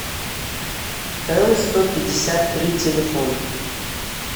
л сто пятьдесят три телефон